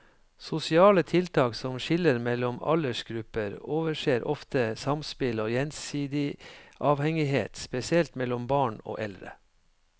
Sosiale tiltak som skiller mellom aldersgrupper overser ofte samspill og gjensidig avhengighet, spesielt mellom barn og eldre.